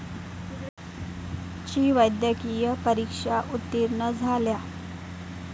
ची वैद्यकीय परीक्षा उत्तीर्ण झाल्या.